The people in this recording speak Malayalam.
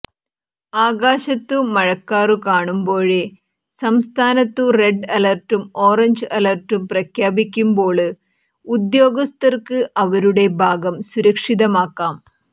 ആകാശത്തു മഴക്കാറു കാണുമ്പോഴേ സംസ്ഥാനത്തു റെഡ് അലര്ട്ടും ഓറഞ്ച് അലര്ട്ടും പ്രഖ്യാപിക്കുമ്പോള് ഉദ്യോഗസ്ഥര്ക്ക് അവരുടെ ഭാഗം സുരക്ഷിതമാക്കാം